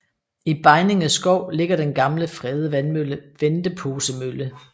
I Begninge skov ligger den gamle fredede vandmølle Venteposemølle